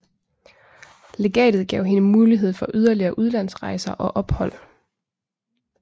Legatet gav hende mulighed for yderligere udlandsrejser og ophold